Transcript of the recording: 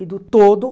E do todo,